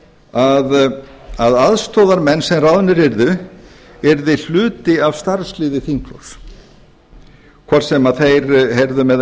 að aðstoðarmenn sem ráðnir yrðu yrðu hluti af starfsliði þingflokks hvort sem þeir heyrðu með